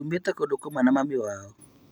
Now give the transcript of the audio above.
Tumĩte kũndũ kũmwe na mami wao